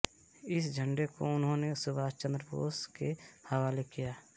इस झण्डे को उन्होंने सुभाष चंद्र बोस के हवाले किया